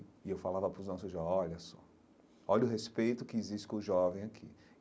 E eu falava para os nossos jovens, olha só, olha o respeito que existe com os jovens aqui.